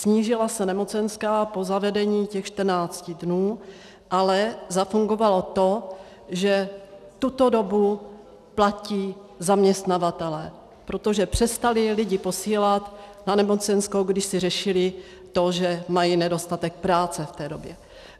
Snížila se nemocenská po zavedeních těch 14 dnů, ale zafungovalo to, že tuto dobu platí zaměstnavatelé, protože přestali lidi posílat na nemocenskou, když si řešili to, že mají nedostatek práce v té době.